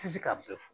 Ti se ka bɛɛ fɔ